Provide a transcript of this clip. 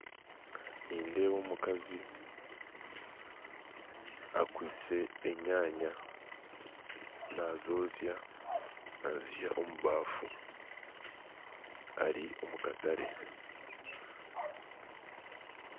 Nindeeba omukazi akwise enyanya, nazozya nazihamu omubaffu Ali omukatare